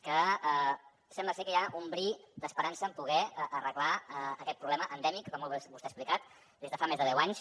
que sembla ser que hi ha un bri d’esperança en poder arreglar aquest problema endèmic com vostè ha explicat des de fa més de deu anys